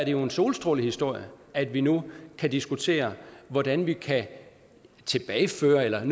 jo en solstrålehistorie at vi nu kan diskutere hvordan vi kan tilbageføre eller i